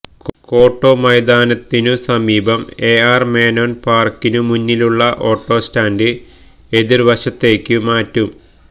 കോട്ടമൈതാനത്തിനുസമീപം A R Menon പാര്ക്കിനുമുന്നിലുള്ള auto stand എതിര്വശത്തേക്കു മാറ്റും